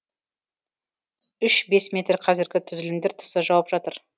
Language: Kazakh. үш бес метр қазіргі түзілімдер тысы жауып жатыр